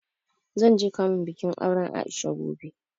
Zan je kamun bikin auren A'isha gobe.